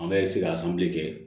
An bɛ se ka kɛ